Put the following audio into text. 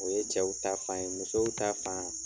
O ye cɛw ta fan ye, musow ta fan.